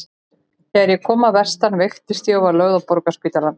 Þegar ég kom að vestan veiktist ég og var lögð inn á Borgarspítalann.